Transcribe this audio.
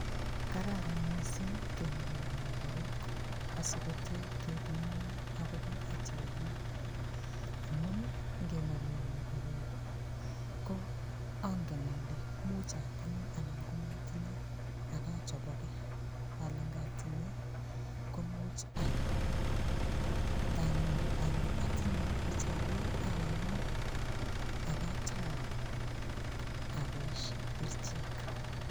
Kararan mising' keng'ololwo korok asikotee kepimone akobo HIV amun ngeng'olwo korok ko angen ale muuch atinye anan komatinye akachoboke ale ngatinye komuuch ayai nee nganyoru ale atinye HIV ayoni akatou aboishe kerichek